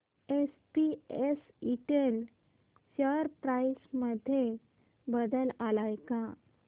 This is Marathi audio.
एसपीएस इंटेल शेअर प्राइस मध्ये बदल आलाय का